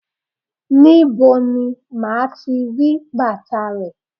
Níbo ni màá ti bàtà rè?